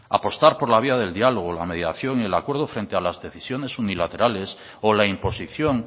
apostar por la vía del diálogo la mediación y el acuerdo frente a las decisiones unilaterales o la imposición